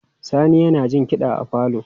Sani yana jin kiɗa a falo.